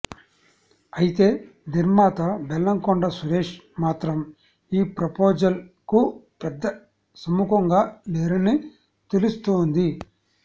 అయితే నిర్మాత బెల్లంకొండ సురేష్ మాత్రం ఈ ప్రపోజల్ కు పెద్ద సముఖంగా లేరని తెలుస్తోంది